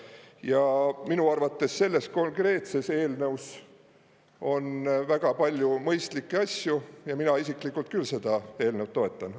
Ja minu arvates selles konkreetses eelnõus on väga palju mõistlikke asju ja mina isiklikult küll seda eelnõu toetan.